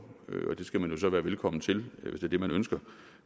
og det skal man jo så være velkommen til hvis det er det man ønsker